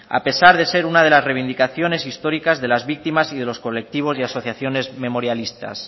a pesar de ser una de las reivindicaciones históricas de las víctimas y de los colectivos y asociaciones memorialistas